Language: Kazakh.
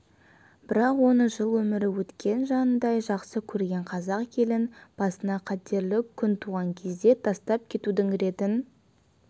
бірақ он жыл өмірі өткен жанындай жақсы көрген қазақ елін басына қатерлі күн туған кезде тастап кетудің ретін